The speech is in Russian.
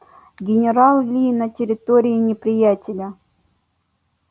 генерал ли на территории неприятеля